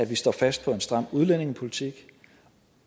vi står fast på en stram udlændingepolitik